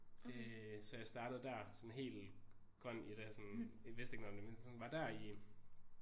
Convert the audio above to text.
Øh så jeg startede der sådan helt grøn i det sådan vidste ikke noget om det men sådan var der i